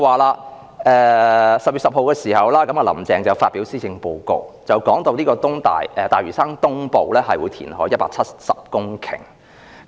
"林鄭"在10月10日發表施政報告，談及會在大嶼山東部填海 1,700 公頃。